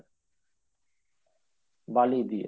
বালি দিয়ে